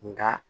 Nka